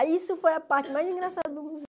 Aí isso foi a parte mais engraçada do